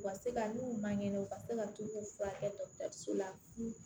U ka se ka n'u man kɛnɛ u ka se ka t'u furakɛ dɔgɔtɔrɔso la